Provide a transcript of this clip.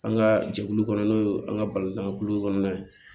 An ka jɛkulu kɔnɔ n'o ye an ka balontankulu kɔnɔna ye